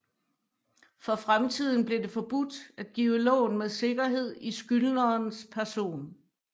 For fremtiden blev det forbudt at give lån med sikkerhed i skyldnerens person